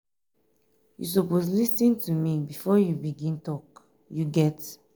you suppose lis ten to me before you begin tok you get?